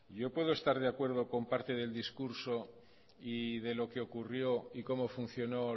yo puedo estar de acuerdo con parte del discurso y de lo que ocurrió y cómo funcionó